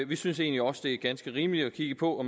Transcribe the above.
vi synes egentlig også det er ganske rimeligt at kigge på